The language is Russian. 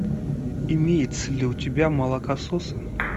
имеется ли у тебя молокососы